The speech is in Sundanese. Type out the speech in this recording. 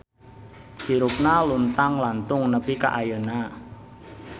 Hirupna luntang lantung nepi ka ayeuna